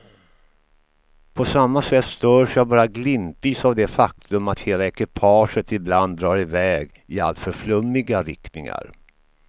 På samma sätt störs jag bara glimtvis av det faktum att hela ekipaget ibland drar i väg i alltför flummiga riktningar.